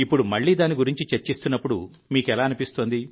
ఇప్పుడు మళ్లీ దాని గురించి చర్చిస్తున్నప్పుడు మీకు ఎలా అనిపిస్తోంది